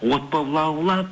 от боп лаулап